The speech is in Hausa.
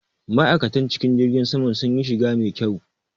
Ma'aikatan cikin jirgin saman sunyi shiga mai kyau.